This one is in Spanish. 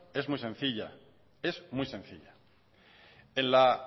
es muy sencilla en la